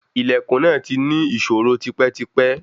Ilẹ̀kùn náà ti ní ìṣòro tipẹ́tipẹ́